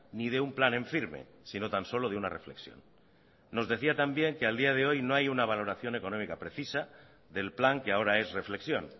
ni de un plan en firme sino tan solo de una reflexión nos decía también que a día de hoy no hay una valoración económica precisa del plan que ahora es reflexión